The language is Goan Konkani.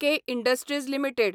K industries limited